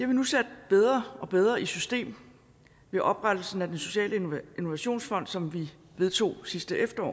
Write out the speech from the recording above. vi nu sat bedre og bedre i system ved oprettelsen af den sociale innovationsfond som vi vedtog sidste efterår